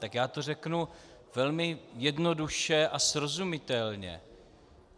Tak já to řeknu velmi jednoduše a srozumitelně.